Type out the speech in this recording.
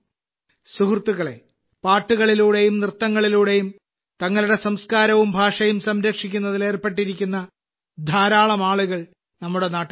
സുഹൃത്തുക്കളേ പാട്ടുകളിലൂടെയും നൃത്തങ്ങളിലൂടെയും തങ്ങളുടെ സംസ്കാരവും ഭാഷയും സംരക്ഷിക്കുന്നതിൽ ഏർപ്പെട്ടിരിക്കുന്ന ധാരാളം ആളുകൾ നമ്മുടെ നാട്ടിലുണ്ട്